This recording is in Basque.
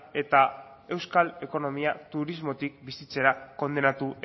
eta euskal ekonomia turismotik bizitzera kondenatu